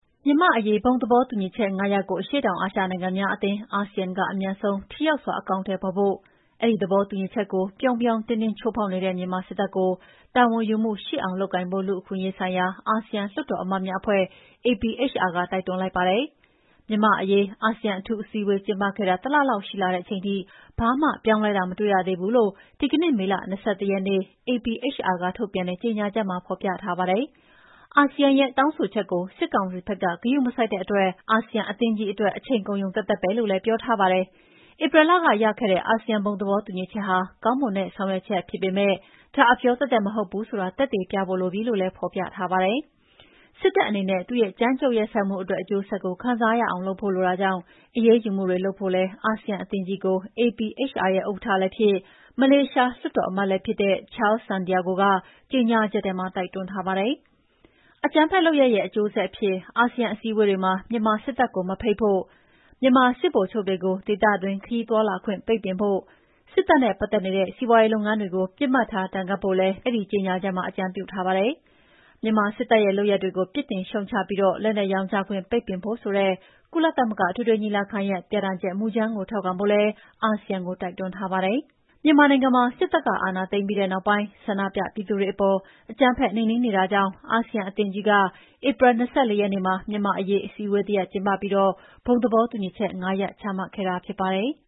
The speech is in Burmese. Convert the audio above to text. မြန်မာ့အရေး ဘုံသဘောတူညီချက် ၅ ရပ်ကို အရှေ့တောင်အာရှနိုင်ငံများအသင်း (ASEAN) က အမြန်ဆုံး ထိရောက်စွာ အကောင်အထည်ဖော်ဖို့၊ အဲဒီ သဘောတူညီချက်ကို ပြောင်ပြောင်တင်းတင်း ချိုးဖောက်နေတဲ့မြန်မာစစ်တပ်ကို တာဝန်ယူမှုရှိအောင် လုပ်ကိုင်ဖို့ လူ့အခွင့်အရေးဆိုင်ရာ အာဆီယံလွှတ်တော်အမတ်များ အဖွဲ့ APHR က တိုက်တွန်းလိုက်ပါတယ်။ မြန်မာ့အရေး အာဆီယံ အထူးအစည်းအဝေးကျင်းပခဲ့တာ တလလောက် ရှိလာတဲ့အချိန်ထိ ဘာမှပြောင်းလဲတာ မတွေ့ရသေးဘူးလို့ ဒီကနေ့ မေလ ၂၁ ရက်နေ့ APHR က ထုတ်ပြန်တဲ့ ကြညာချက်မှာ ဖော်ပြထားပါတယ်။ အာဆီယံရဲ့တောင်းဆိုချက်ကို စစ်ကောင်စီဘက်က ဂရုမစိုက်တဲ့အတွက် အာဆီယံ အသင်းကြီးအတွက် အချိန်ကုန်ရုံသက်သက်ပဲလို့လည်း ပြောထားပါတယ်။ ဧပြီလက ရခဲ့တဲ့ အာဆီယံ ဘုံသဘောတူညီချက်ဟာ ကောင်းမွန်တဲ့ ဆောင်ရွက်ချက်ဖြစ်ပေမဲ့၊ ဒါ အပြောသက်သက်မဟုတ်ဘူးဆိုတာ သက်သေပြဖို့လိုပြီလို့လည်း ဖော်ပြထားပါတယ်။ စစ်တပ်အနေဲ့သူ့ရဲ့ ကြမ်းကြုတ်ရက်စက်မှုအတွက် အကျိုးဆက်ကိုခံစားရအောင်လုပ်ဖို့လိုတာကြောင့် အရေးယူမှုတွေလုပ်ဖို့လည်း အာဆီယံအသင်းကြီးကို APHR ရဲ့ဥက္ကဋ္ဌလည်းဖြစ်၊ မလေးရှားလွှတ်တော်အမတ်လည်းဖြစ်တဲ့ Charles Santiago ကကြေညာချက်ထဲမှာ တိုက်တွန်း ထားပါတယ်။ အကြမ်းဖက်လုပ်ရပ်ရဲ့အကျိုးဆက်အဖြစ် အာဆီယံအစည်းအဝေးတွေမှာ မြန်မာစစ်တပ်ကို မဖိတ်ဖို့၊ မြန်မာ စစ်ဗိုလ်ချုပ်တွေကို ဒေသတွင်းခရီးသွားလာခွင့်ပိတ်ပင်ဖို့၊ စစ်တပ်နဲ့ ပတ်သက်နေတဲ့စီးပွားရေး လုပ်ငန်းတွေကို ပစ်မှတ်ထား ဒဏ်ခတ်ဖို့လည်း မစ္စတာ Santiago က အဲဒီကြေညာချက်မှာ အကြံပြုထားပါတယ်။ မြန်မာစစ်တပ်ရဲ့ လုပ်ရပ်တွေကို ပြစ်တင်ရှုတ်ချပြီး လက်နက်ရောင်းချခွင့် ပိတ်ပင်ဖို့ဆိုတဲ့ ကုလသမဂ္ဂအထွေထွေ ညီလာခံရဲ့ ပြဌာန်းချက်မူကြမ်းကို ထောက်ခံဖို့လည်း အာဆီယံကို တိုက်တွန်းထားပါတယ်။ မြန်မာနိုင်ငံမှာ စစ်တပ်ကအာဏာသိမ်းပြီးတဲ့နောက်ပိုင်း ဆန္ဒပြပြည်သူတွေအပေါ် အကြမ်းဖက်နှိမ်နှင်းနေတာကြောင့် အာဆီယံ အသင်းကြီးက ဧပြီ ၂၄ ရက်နေ့မှာ မြန်မာ့အရေး အစည်းအဝေး တရပ်ကျင်းပပြီး ဘုံသဘောတူညီချက် ၅ ရပ် ချမှတ်ခဲ့တာဖြစ်ပါတယ်။